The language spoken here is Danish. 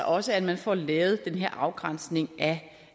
også at man får lavet den her afgrænsning af